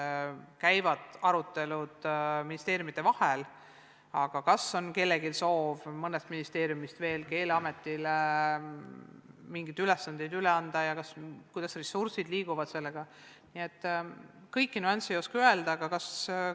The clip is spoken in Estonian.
Praegu käivad arutelud ministeeriumide vahel, aga kas on kellelgi soov mõnest ministeeriumist veel Keeleametile mingeid ülesandeid üle anda, kuidas ressursid liiguvad jms nüansside kohta ei oska veel midagi öelda.